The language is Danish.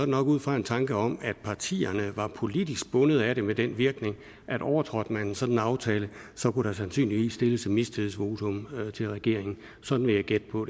nok ud fra en tanke om at partierne var politisk bundet af det med den virkning at overtrådte man en sådan aftale kunne der sandsynligvis stilles et mistillidsvotum til regeringen sådan vil jeg gætte på